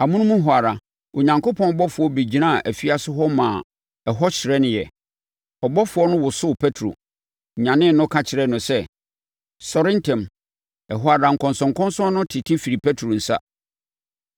Amonom hɔ ara, Onyankopɔn ɔbɔfoɔ bɛgyinaa afiase hɔ maa ɛhɔ hyerɛneeɛ. Ɔbɔfoɔ no wosoo Petro, nyanee no, ka kyerɛɛ no sɛ, “Sɔre ntɛm!” Ɛhɔ ara, nkɔnsɔnkɔnsɔn no tete firii Petro nsa.